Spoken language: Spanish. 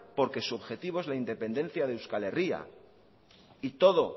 porque su objetivo es la independencia de euskal herria y todo